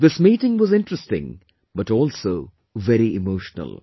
This meeting was interesting but also very emotional